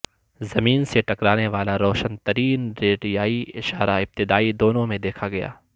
زمین سے ٹکرانے والا روشن ترین ریڈیائی اشارہ ابتدائی دنوں میں دیکھا گیا